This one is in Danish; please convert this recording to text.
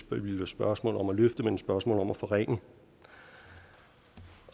spørgsmål om at løfte men et spørgsmål om at forringe